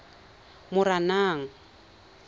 moranang